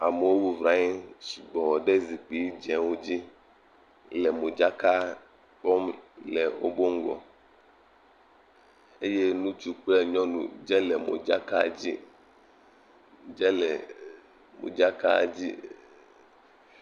Amewo bɔbɔnɔ anyi sugbɔ ɖe zikpui dzewo dzi le modzakaɖexɔme eye ŋutsu kple nyɔnu dze le modzaka dzi eee…, dze le eeee…, modzaka dzi eeeeeee…,.